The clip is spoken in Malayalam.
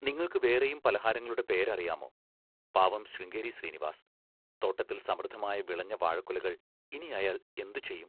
നിങ്ങൾക്ക് വേറെയും പലഹാരങ്ങളുടെ പേരറിയാമോ? പാവം ശൃംഗേരി ശ്രീനിവാസ്! തോട്ടത്തിൽ സമൃദ്ധമായ വിളഞ്ഞ വാഴക്കുലകൾ ഇനിയയാൾ എന്തുചെയ്യും?